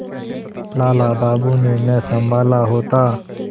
लाला बाबू ने न सँभाला होता